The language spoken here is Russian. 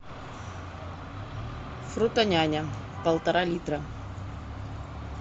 фрутоняня полтора литра